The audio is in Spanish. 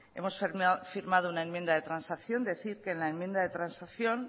hemos firmado una enmienda de transacción decir que en la enmienda de transacción